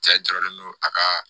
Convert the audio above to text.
Cɛ jɔrɔlen don a ka